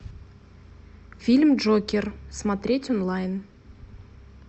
фильм джокер смотреть онлайн